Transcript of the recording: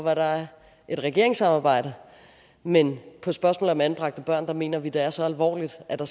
at der er et regeringssamarbejde men på spørgsmålet om anbragte børn mener de at det er så alvorligt og at der